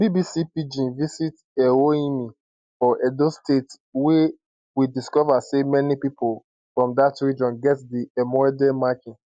bbc pidgin visit ewohimi for edo state wia we discover say many pipo from dat region get di emaudeh marking